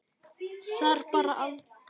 Þar bar aldrei skugga á.